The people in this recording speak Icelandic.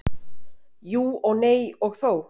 Jú og nei og þó.